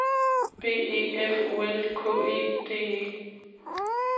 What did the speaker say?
B E F O L K E D E